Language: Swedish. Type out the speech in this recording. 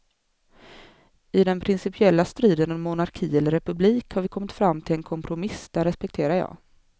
I den principiella striden om monarki eller republik har vi kommit fram till en kompromiss, den respekterar jag.